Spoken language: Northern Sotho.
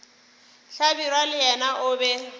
hlabirwa le yena o be